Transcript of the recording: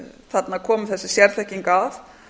þarna komi þessi sérþekking að